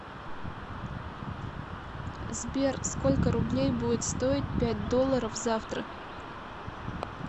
сбер сколько рублей будет стоить пять долларов завтра